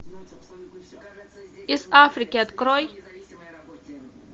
из африки открой